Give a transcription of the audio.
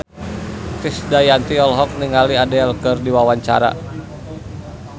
Krisdayanti olohok ningali Adele keur diwawancara